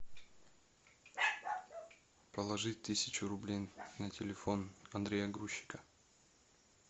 положить тысячу рублей на телефон андрея грузчика